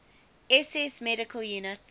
ss medical units